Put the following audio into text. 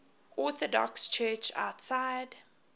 orthodox church outside